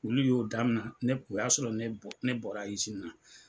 Olu y'o daminɛ o y'a sɔrɔ ne bɔra izini na.